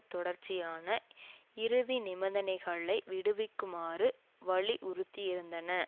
தொடர்ச்சியான இறுதி நிபந்தனைகளை விடுக்குமாறு வலியுறுத்தியிருந்தன